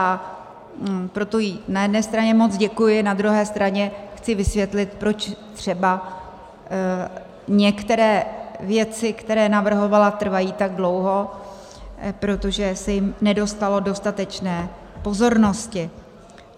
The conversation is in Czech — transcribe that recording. A proto jí na jedné straně moc děkuji, na druhé straně chci vysvětlit, proč třeba některé věci, které navrhovala, trvají tak dlouho - protože se jim nedostalo dostatečné pozornosti.